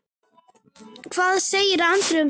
Hvað segir Andri um það?